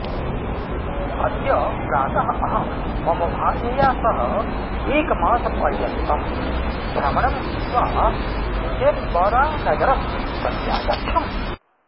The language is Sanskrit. अद्य प्रातः अहं मम भार्यया सह एकमासपर्यन्तं भ्रमणं कृत्वा केन्बरानगरं प्रत्यागच्छम्